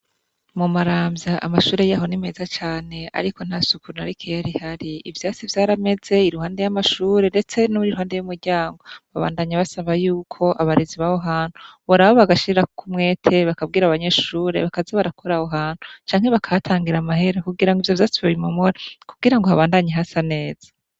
Mu maramvya amashure yaho ni meza cane ariko nta suku na rikeyi rihari. Ivyatsi vyarameze iruhande y'amashure ndetse niruhande y'umuryango. Babandanya basaba yuko abarezi baho hantu , Boraba bagashirako umwete bakabwira abanyeshure bakaza barakora aho hantu canke bakahatangira amahera kugira ivyatsi vyose babimomore, kugira habandanye hasa neza.